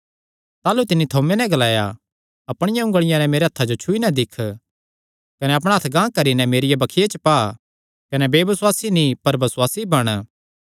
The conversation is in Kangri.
ताह़लू तिन्नी थोमे नैं ग्लाया अपणी उंगलिया नैं मेरे हत्थां जो छुई नैं दिक्ख कने अपणा हत्थ गांह करी नैं मेरिया बक्खिया च पा कने बेबसुआसी नीं पर बसुआसी बण